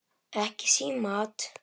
Ekki símaat!